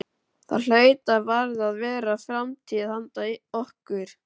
Það hlaut og varð að vera framtíð handa okkur.